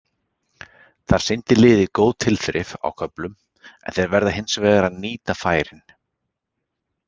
Þar sýndi liðið góð tilþrif á köflum en þeir verða hins vegar að nýta færin.